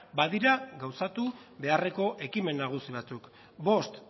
badira gauzatu beharreko ekimen nagusi batzuk bost